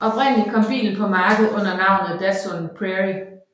Oprindeligt kom bilen på markedet under navnet Datsun Prairie